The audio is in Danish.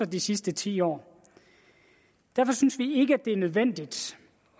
de sidste ti år derfor synes vi ikke det er nødvendigt